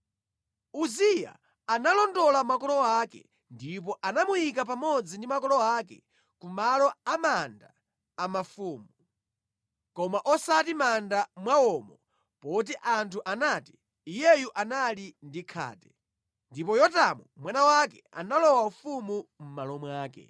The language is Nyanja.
Uziya analondola makolo ake, ndipo anamuyika pamodzi ndi makolo ake ku malo a manda a mafumu, koma osati mʼmanda mwawomo poti anthu anati, “Iyeyu anali ndi khate.” Ndipo Yotamu mwana wake analowa ufumu mʼmalo mwake.